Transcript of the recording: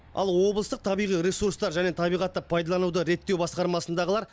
ал облыстық табиғи ресурстар және табиғатты пайдалануды реттеу басқармасындағылар